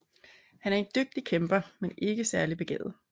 Han er en dygtig kæmper men ikke særlig begavet